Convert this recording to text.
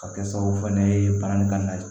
Ka kɛ sababu fana ye bange ka na